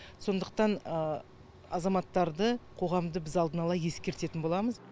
сондықтан азаматтарды қоғамды біз алдына ала ескертетін боламыз